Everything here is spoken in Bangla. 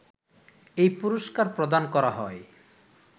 এই পুরস্কার প্রদান করা হয়